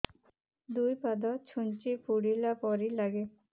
ଦୁଇ ପାଦ ଛୁଞ୍ଚି ଫୁଡିଲା ପରି ଲାଗେ